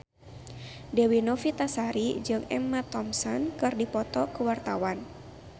Dewi Novitasari jeung Emma Thompson keur dipoto ku wartawan